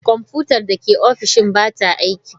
Kwamfutar da ke ofishina ba ta aiki.